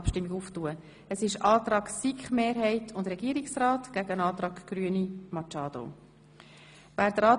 Es werden der Antrag SiK-Mehrheit und Regierungsrat und der Antrag Grüne Machado einander gegenübergestellt.